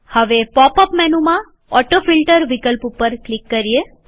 હવે pop up મેનુમાં autofilter વિકલ્પ ઉપર ક્લિક કરીએ